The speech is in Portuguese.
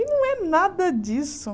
E não é nada disso.